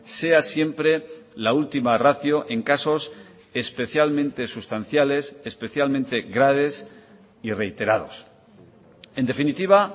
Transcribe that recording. sea siempre la última ratio en casos especialmente sustanciales especialmente graves y reiterados en definitiva